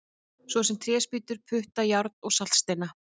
Svo sem tréspýtur, putta, járn og saltsteina!